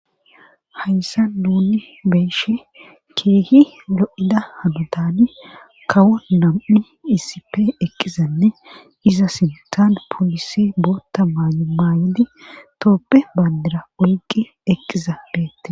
Hayssa duuni beeshe keehi lo'ida hanotan kawo nam'i iisipe eqqizanne iza sintan polisi bootta maayu maayodi tooppe bandira oygi eqqiza deette.